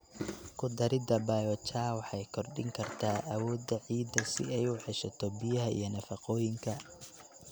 Ku darida biochar waxay kordhin kartaa awoodda ciidda si ay u ceshato biyaha iyo nafaqooyinka.